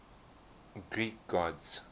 greek gods